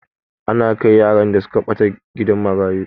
Ana kai yaran da suka ɓata gidan marayu.